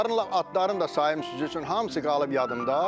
Onların lap adlarını da sayım sizin üçün, hamısı qalıb yadımdadı.